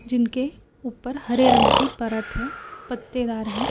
जिनके ऊपर हरे रंग की परत है पत्तेदार है।